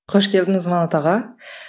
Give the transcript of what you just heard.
қош келдіңіз манат аға